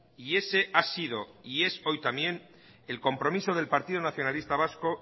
y ese ha sido y es hoy también el compromiso del partido nacionalista vasco